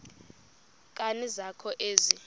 nkani zakho ezi